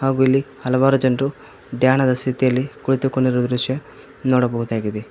ಹಾಗು ಇಲ್ಲಿ ಹಲವಾರು ಜನರು ದ್ಯಾನದ ಸ್ಥಿತಿಯಲ್ಲಿ ಕುಳಿತುಕೊಂಡಿರುವ ದೃಶ್ಯ ನೋಡಬಹುದಾಗಿದೆ.